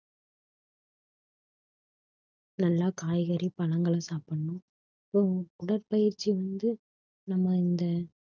நல்லா காய்கறி பழங்களை சாப்பிடணும் உ~ உடற்பயிற்சி வந்து நம்ம இந்த